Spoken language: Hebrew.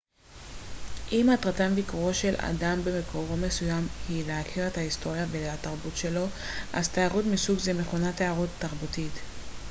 אם מטרת ביקורו של אדם במקום מסוים היא להכיר את ההיסטוריה והתרבות שלו אז תיירות מסוג זה מכונה תיירות תרבותית